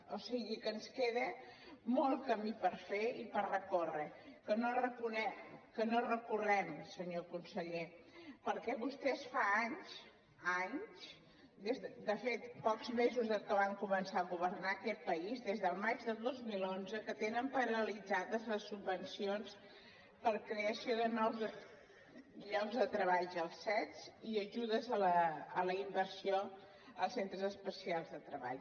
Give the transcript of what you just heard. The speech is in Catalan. o sigui que ens queda molt camí per fer i per recórrer que no recorrem senyor conseller perquè vostès fa anys anys de fet pocs mesos des que van començar a governar aquest país des del maig de dos mil onze que tenen paralitzades les subvencions per a creació de nous llocs de treballs als cet i ajudes a la inversió als centres especials de treball